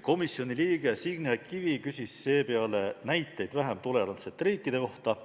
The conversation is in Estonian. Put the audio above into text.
Komisjoni liige Signe Kivi küsis seepeale näiteid vähem tolerantsete riikide kohta